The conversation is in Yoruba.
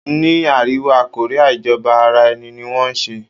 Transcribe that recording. Ni àríwá Korea ìjọba ara ẹni ní wọn ń ṣe.